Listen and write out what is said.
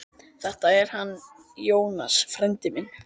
Þetta er hann Jónas, frændi minn.